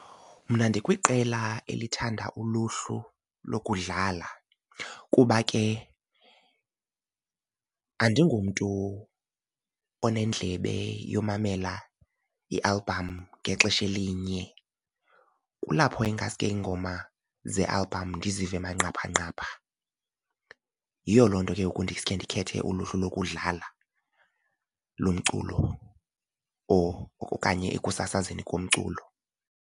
Mna ndikwiqela elithanda uluhlu lokudlala kuba ke andingomntu onendlebe yomamela i-album ngexesha elinye, kulapho ingaske iingoma ze-album ndizive manqaphanqapha. Yiyo loo nto ke ngoku ndiske ndikhethe uluhlu lokudlala lomculo or okanye ekusasazeni komculo.